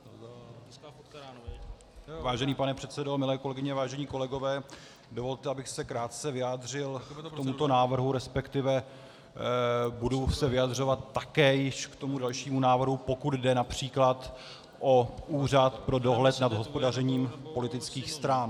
Vážený pane předsedo, milé kolegyně, vážení kolegové, dovolte, abych se krátce vyjádřil k tomuto návrhu, respektive budu se vyjadřovat také již k tomu dalšímu návrhu, pokud jde například o Úřad pro dohled nad hospodařením politických stran.